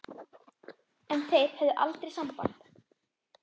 En þeir höfðu aldrei samband